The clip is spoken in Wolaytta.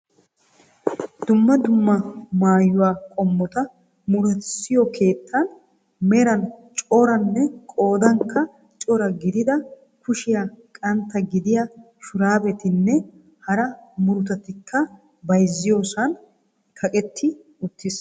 Dumma dumma maayyuwaa qommota murutissiyo keettan meran coranne qoodankka cora gidida kushiyaa qantta gidiyaa shurabetinne hara murutatikka bayzziyoosan kaqetti uttiis.